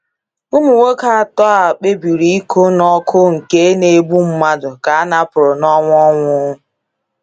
Ụmụ nwoke atọ a kpebiri ịkụ n’ọkụ nke na - egbu mmadụ ka a napụrụ n’ọnụ ọnwụ!